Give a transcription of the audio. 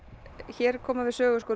hér koma við sögu